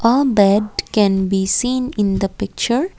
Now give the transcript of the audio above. a bed can be seen in the picture.